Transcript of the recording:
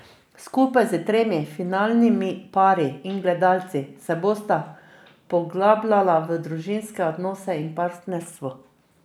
Skupaj s tremi finalnimi pari in gledalci se bosta poglabljala v družinske odnose in partnerstvo.